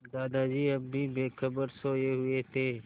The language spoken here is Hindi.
दादाजी अब भी बेखबर सोये हुए थे